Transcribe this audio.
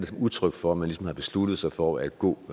som udtryk for at man ligesom har besluttet sig for at gå